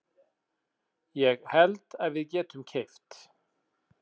Ég held að við getum keypt.